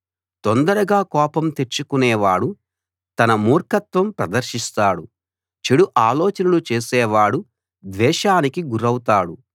తొందరగా కోపం తెచ్చుకునేవాడు తన మూర్ఖత్వం ప్రదర్శిస్తాడు చెడు ఆలోచనలు చేసేవాడు ద్వేషానికి గురౌతాడు